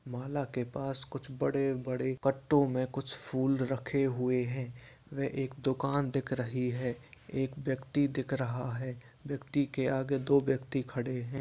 माला के पास कुछ बड़े-बड़े कट्टो में कुछ फूल रखे हुए है व एक दुकान दिख रही है एक व्यक्ति दिख रहा है व्यक्ति के आगे दो व्यक्ति खड़े है।